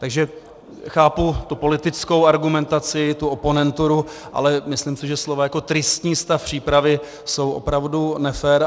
Takže chápu tu politickou argumentaci, tu oponenturu, ale myslím si, že slova jako tristní stav přípravy jsou opravdu nefér.